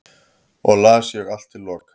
og las ég allt til loka